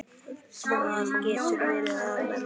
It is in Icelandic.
Það getur verið að lemja.